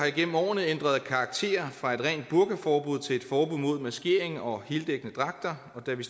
igennem årene ændret karakter fra et rent burkaforbud til et forbud mod maskering og heldækkende dragter og da vi